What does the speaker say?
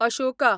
अशोका